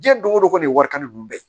Diɲɛ don go don ko nin ye warita ninnu bɛɛ ye